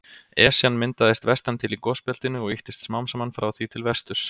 Esjan myndaðist vestan til í gosbeltinu og ýttist smám saman frá því til vesturs.